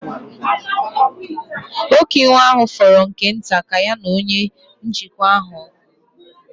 Nwoke iwe ahụ fọrọ nke nta ka ya na onye njikwa ahụ ọgụ.